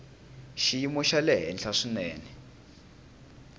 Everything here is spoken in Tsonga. xiyimo xa le henhla swinene